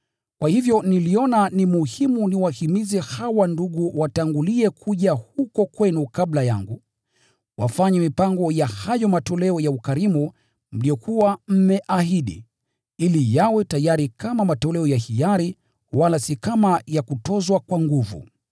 Kwa hivyo niliona ni muhimu niwahimize hawa ndugu watangulie kuja huko kwenu kabla yangu, wafanye mipango ya hayo matoleo ya ukarimu mliyokuwa mmeahidi, ili yawe tayari kama matoleo ya hiari wala si kama ya kutozwa kwa nguvu.